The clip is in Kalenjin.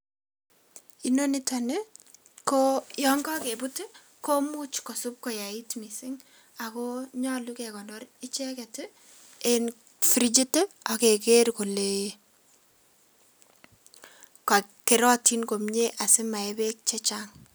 Inoniton nii koo yon kokebut komuch kosib koyait missing ako nyolu kekonor icheket en frichit tii akeker kole kerotin komii asimayee beek chachang.